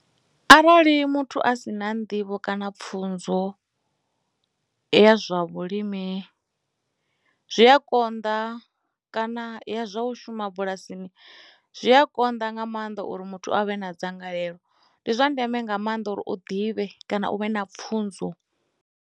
Arali muthu a si na nḓivho kana pfhunzo ya zwa vhulimi zwi a konḓa kana ya zwa u shuma bulasini zwi a konḓa nga maanḓa uri muthu avhe na dzangalelo ndi zwa ndeme nga maanḓa uri u ḓivhe kana u vhe na pfhunzo.